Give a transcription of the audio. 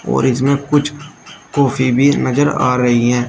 और इसमें कुछ कॉफी भी नजर आ रही हैं।